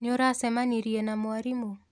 Nĩũracemanirie na mwarimũ?